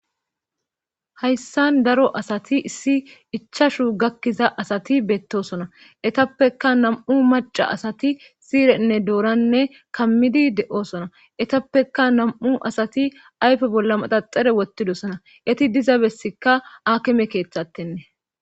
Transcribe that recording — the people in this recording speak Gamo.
hayssan daro asati issi ichashu gakkiza asati beettosona etappeka nam7u maca asati siirenne dooranne kammidi de7oosona etappeka nam7u asati aype bolla maxaxare wotidosana eti diza bessikka akime keeththattenne.